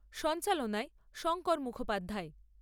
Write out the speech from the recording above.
সঞ্চালনায় শঙ্কর মুখোপাধ্যায়।